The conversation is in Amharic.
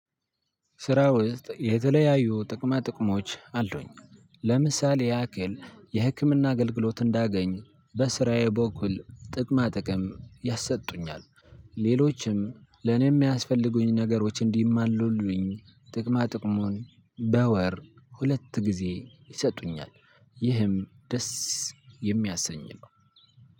ስራ ውስጥ የተለያዩ ጥቅማ ጥቅሞች አሉኝ። ለምሳሌ ያክል የህክምና አገልግሎት እንዳገኝ በስራዬ በኩል ጥቅማ ጥቅም ያሰጡኛል። ሌሎችም ለኔ የሚያስፈልጉኝ ነገሮች እንዲሟሉልኝ ጥቅማ ጥቅሙን በወር ሁለት ጊዜ ይሰጡኛል። ይህም ደስ የሚያሰኝ ነው።